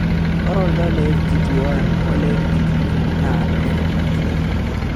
Ore oltau Le FGT1 ole FGT2 naa letipat.